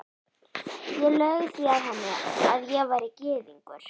Ég laug því að henni, að ég væri gyðingur